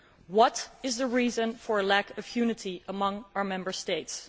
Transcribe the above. What is the reason for a lack of unity among our Member States?